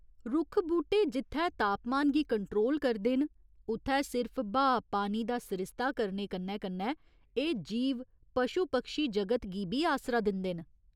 रुक्ख बूह्टे जित्थै तापमान गी कंट्रोल करदे न, उत्थै सिर्फ ब्हाऽ पानी दा सरिस्ता करने कन्नै कन्नै एह् जीव पशु पक्षी जगत गी बी आसरा दिंदे न।